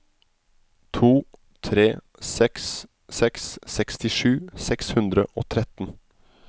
to tre seks seks sekstisju seks hundre og tretten